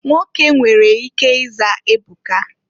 Nwoke nwere ike ịza Ebuka.